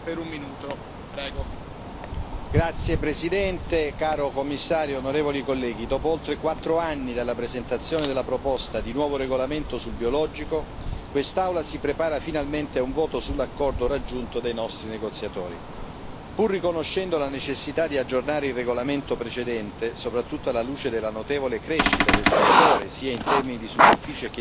Signor Presidente, onorevoli colleghi, signor Commissario, dopo oltre quattro anni dalla presentazione della proposta di un nuovo regolamento sul biologico, quest'Aula si prepara finalmente a un voto sull'accordo raggiunto dai nostri negoziatori. Pur riconoscendo la necessità di aggiornare il regolamento precedente, soprattutto alla luce della notevole crescita del settore, sia in termini di superficie che di fatturato,